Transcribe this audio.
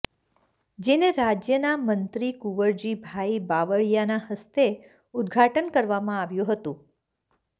જેને રાજ્યના મંત્રી કુવરજીભાઈ બાવળીયાના હસ્તે ઉદ્ઘાટન કરવામાં આવ્યું હતું